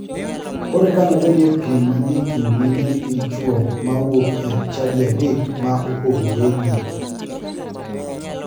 Koro eka nobedie piem manie kind e mine gi chuo ma wuok e chadi adek ma opogoregi.